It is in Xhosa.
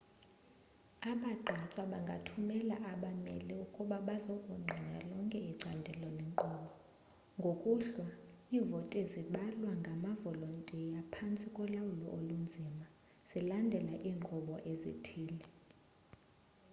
abagqatswa bangathumela abameli ukuba bazokungqina lonke icandelo lenkqubo ngokuhlwa iivoti zibalwa ngamavolontiya phantsi kolawulo olunzima zilandela iinkqubo ezithile